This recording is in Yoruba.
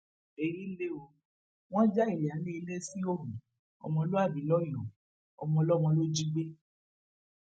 èyí lẹ ó wọn já ìyáálé ilé síhòòhò ọmọlúàbí lọyọọ ọmọọlọmọ ló jí gbé